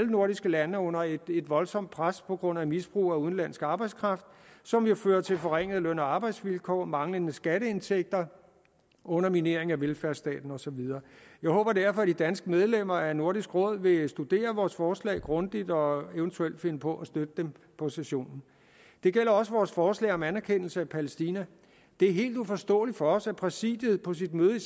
nordiske lande er under et voldsomt pres på grund af misbrug af udenlandsk arbejdskraft som jo fører til forringede løn og arbejdsvilkår manglende skatteindtægter og underminering af velfærdsstaten og så videre jeg håber derfor at de danske medlemmer af nordisk råd vil studere vores forslag grundigt og evt finde på at støtte dem på sessionen det gælder også vores forslag om anerkendelse af palæstina det er helt uforståeligt for os at præsidiet på sit møde i